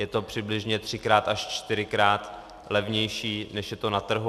Je to přibližně třikrát až čtyřikrát levnější, než je to na trhu.